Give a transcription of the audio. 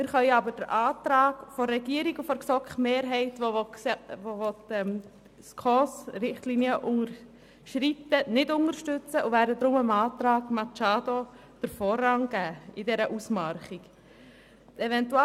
Wir können aber den Antrag der Regierung und der GSoKMehrheit, die die SKOS-Richtlinien unterschreiten wollen, nicht unterstützen und werden deshalb dem Antrag Machado in der Gegenüberstellung den Vorrang geben.